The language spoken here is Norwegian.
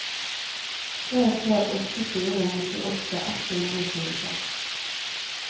tre tre åtte fire nittiåtte ett hundre og tjueseks